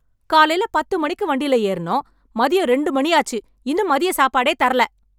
காலைல பத்து மணிக்கு வண்டியில ஏறினோம் மதியம் இரண்டு மணியாச்சு இன்னும் மதிய சாப்பாடே தரல